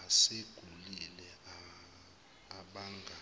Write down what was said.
asegugile abanga